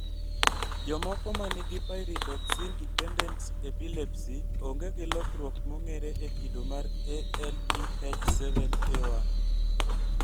Jomoko manigi pyridoxine dependent epilepsy onge gi lokruok mong'ere e kido mar ALDH7A1